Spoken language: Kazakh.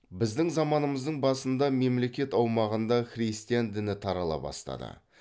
біздің заманымыздың басында мемлекет аумағында христиан діні тарала бастады